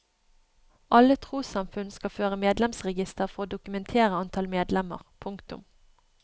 Alle trossamfunn skal føre medlemsregister for å dokumentere antall medlemmer. punktum